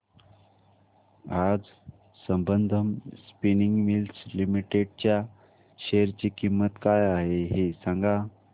आज Sambandam spinning mills limited च्या share ची किंमत काय आहे हे सांगा